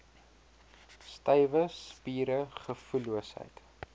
stywe spiere gevoelloosheid